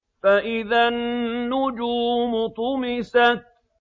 فَإِذَا النُّجُومُ طُمِسَتْ